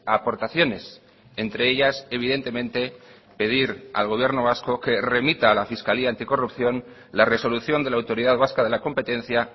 aportaciones entre ellas evidentemente pedir al gobierno vasco que remita a la fiscalía anticorrupción la resolución de la autoridad vasca de la competencia